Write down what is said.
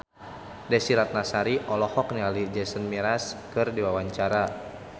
Desy Ratnasari olohok ningali Jason Mraz keur diwawancara